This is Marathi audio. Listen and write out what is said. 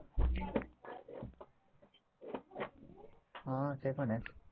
हा ते पण आहे.